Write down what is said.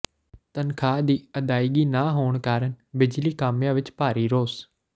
ਤਨਖ਼ਾਹ ਦੀ ਅਦਾਇਗੀ ਨਾ ਹੋਣ ਕਾਰਨ ਬਿਜਲੀ ਕਾਮਿਆਂ ਵਿਚ ਭਾਰੀ ਰੋਸ